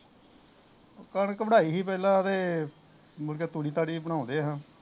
ਕਣਕ ਵਡਾਈ ਸੀ ਪਹਿਲਾ ਤੇ ਮੁੜ ਕੇ ਤੂੜੀ ਤਾੜੀ ਵੀ ਬਣਾਉਣ ਡਏ ਸਾ